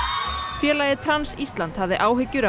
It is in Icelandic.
félagið Trans Ísland hafði áhyggjur af